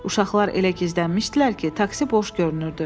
Uşaqlar elə gizlənmişdilər ki, taksi boş görünürdü.